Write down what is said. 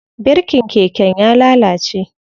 Birikin keken ya lalace.